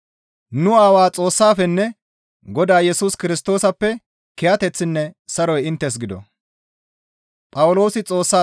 Nu Aawaa Xoossaafenne Godaa Yesus Kirstoosappe kiyateththinne saroy inttes gido.